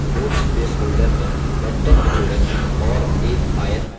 notes place holder में content जोड़ें और